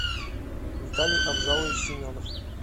виталий абзалович семенов